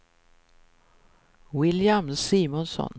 William Simonsson